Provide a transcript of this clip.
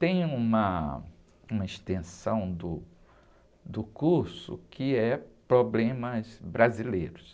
Tem uma, uma extensão do, do curso que é problemas brasileiros.